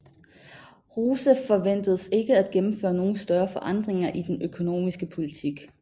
Rouseff forventedes ikke at gennemføre nogle større forandringer i den økonomiske politik